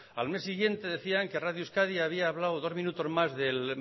al mes siguiente decían que radio euskadi había hablado dos minutos más de